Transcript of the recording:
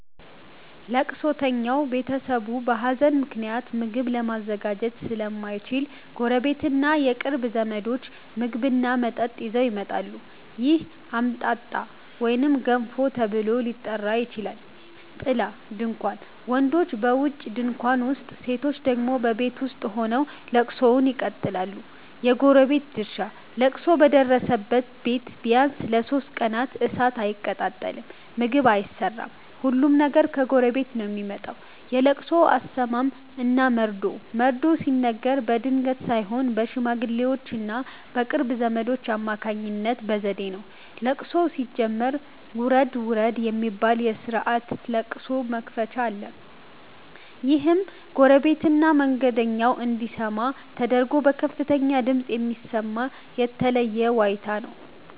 ለቅሶተኛው ቤተሰብ በሀዘን ምክንያት ምግብ ለማዘጋጀት ስለማይችል፣ ጎረቤትና የቅርብ ዘመዶች ምግብና መጠጥ ይዘው ይመጣሉ። ይህ "አምጣጣ" ወይም "ገንፎ" ተብሎ ሊጠራ ይችላል። ጥላ (ድንኳን): ወንዶች በውጪ ድንኳን ውስጥ፣ ሴቶች ደግሞ በቤት ውስጥ ሆነው ለቅሶውን ይቀጥላሉ። የጎረቤት ድርሻ: ለቅሶ በደረሰበት ቤት ቢያንስ ለሦስት ቀናት እሳት አይቀጣጠልም (ምግብ አይሰራም)፤ ሁሉም ነገር ከጎረቤት ነው የሚመጣው። የለቅሶ አሰማም እና መርዶ መርዶ ሲነገር በድንገት ሳይሆን በሽማግሌዎችና በቅርብ ዘመዶች አማካኝነት በዘዴ ነው። ለቅሶው ሲጀመር "ውረድ ውረድ" የሚባል የስርዓተ ለቅሶ መክፈቻ አለ። ይህም ጎረቤትና መንገደኛው እንዲሰማ ተደርጎ በከፍተኛ ድምፅ የሚሰማ የተለየ ዋይታ ነው።